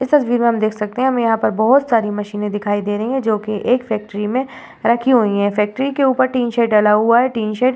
इस तस्वीर में हम देख सकते हैं कि हमें यहाँ पर बहोत सारी मशीनें दिखाई दे रही हैं जोकि एक फैक्ट्री में रखी हुई हैं। फैक्ट्री के ऊपर टीन शेड डाला हुआ है। Tin shed --